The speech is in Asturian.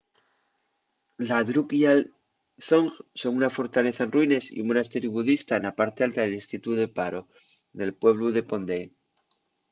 la drukgyal dzong son una fortaleza en ruines y un monasteriu budista na parte alta del distritu de paro nel pueblu de phondey